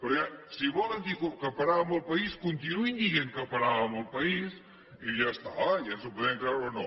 perquè si volen dir que paràvem el país continuïn dient que paràvem el país i ja està i ens ho podem creure o no